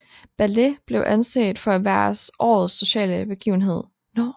Ballet blev anset for at være årets sociale begivenhed